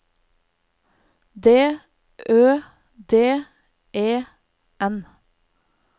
D Ø D E N